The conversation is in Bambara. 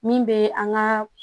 Min bɛ an ka